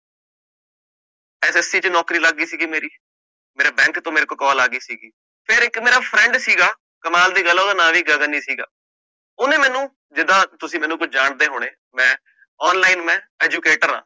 SSC ਚ ਨੌਕਰੀ ਲੱਗ ਗਈ ਸੀਗੀ ਮੇਰੀ, ਮੇਰਾ bank ਤੋਂ ਮੇਰੇ ਕੋ call ਆ ਗਈ ਸੀਗੀ, ਫਿਰ ਇੱਕ ਮੇਰਾ friend ਸੀਗਾ ਕਮਾਲ ਦੀ ਗੱਲ ਆ, ਉਹਦਾ ਨਾਂ ਵੀ ਗਗਨ ਹੀ ਸੀਗਾ, ਉਹਨੇ ਮੈਨੂੰ ਜਿੱਦਾਂ ਤੁਸੀਂ ਮੈਨੂੰ ਪਹਿਚਾਣਦੇ ਹੋਣੇ ਮੈਂ online ਮੈਂ educator ਹਾਂ।